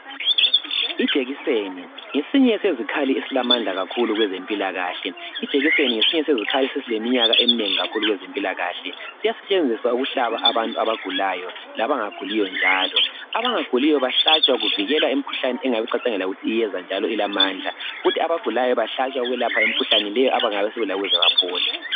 Ijekiseni ngesinye sezikhali esilamandla kakhulu kwezempilakahle. Ijekiseni ngesinye sezikhali esesileminyaka eminengi kakhulu kwezempilakahle. Siyasetshenziswa ukuhlaba abantu abagulayo labangaguliyo njalo abangaguliyo bahlatshwa kuvikelwa imikhuhlane engabe icatshangelwa ukuthi iyeza njalo ilamandla kuthi abagulayo behlatshwa ukwelatshwa imikhuhlane le abangabe sebelayo ukuze baphole.